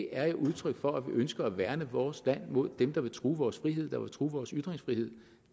er et udtryk for at vi ønsker at værne vores land mod dem der vil true vores frihed og true vores ytringsfrihed